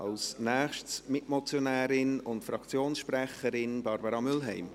Als Nächstes die Mitmotionärin und Fraktionssprecherin Barbara Mühlheim.